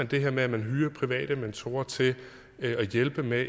det her med at man hyrer private mentorer til at hjælpe med